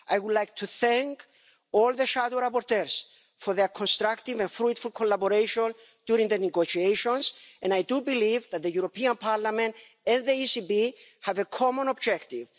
I would like to thank all the shadow rapporteurs for their constructive and fruitful collaboration during the negotiations, and I do believe that the European Parliament and the ECB have a common objective.